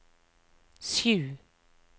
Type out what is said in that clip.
sju